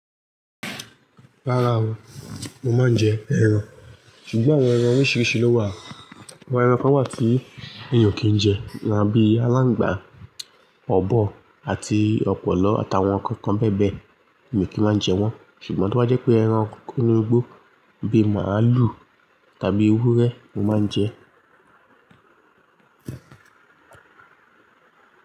Rárá o, mo máa ń jẹ ẹran. Ṣùgbọ́n àwọn ẹran oríṣiríṣi ló wà. Àwọn ẹran kan wà tí ènìyàn kì í jẹ, lánbi alángbà, ọ̀bọ àti ọ̀pọ̀lọ àtàwọn ǹkan kan bẹ́ẹ̀ bẹ́ẹ̀ mi o kì í máa ń jẹ wọ́n. Ṣùgbọ́n to bá jẹ́ pé ẹran kókó inu gbó bíi màalù tàbí ewúrẹ́, mo máa ń jẹ.